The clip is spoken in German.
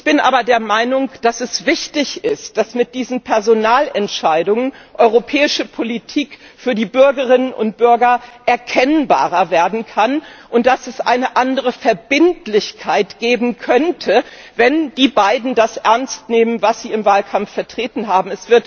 Ich bin aber der Meinung, dass es wichtig ist, dass mit diesen Personalentscheidungen europäische Politik für die Bürgerinnen und Bürger erkennbarer werden kann, und dass es eine andere Verbindlichkeit geben könnte, wenn die beiden das ernst nehmen, was sie im Wahlkampf vertreten haben.